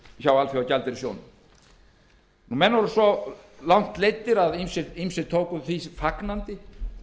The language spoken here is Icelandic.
hjá alþjóðagjaldeyrissjóðnum menn voru svo langt leiddir að ýmsir tóku því fagnandi